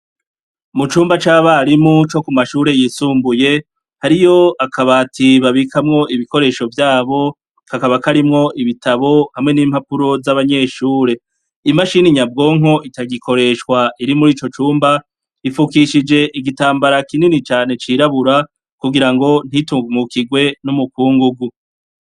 Mu cumba c'abarimu co ku mashure yisumbuye hariyo akabatibabikamwo ibikoresho vyabo kakaba karimwo ibitabo hamwe n'impapuro z'abanyeshure imashini inyabwonko itagikoreshwa iri muri ico cumba rifukishije igitambara kinini cane cirabura kugira ngo ntitungwwo ukirwe n'umukungu gu.